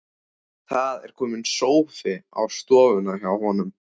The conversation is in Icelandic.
Það er kominn sófi á stofuna hjá honum.